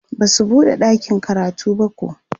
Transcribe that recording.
Basu buɗe ɗakin karatun bako